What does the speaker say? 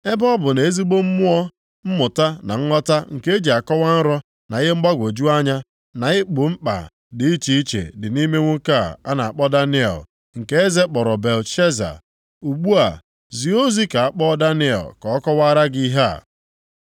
Ebe ọ bụ na ezigbo mmụọ, mmụta na nghọta nke e ji akọwa nrọ na ihe mgbagwoju anya, na igbo mkpa dị iche iche, dị nʼime nwoke a a na-akpọ Daniel, nke eze kpọrọ Belteshaza. Ugbu a, zie ozi ka a kpọọ Daniel ka ọ kọwara gị ihe a.”